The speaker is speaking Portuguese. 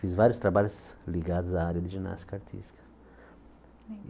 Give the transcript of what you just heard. Fiz vários trabalhos ligados à área de ginástica artística.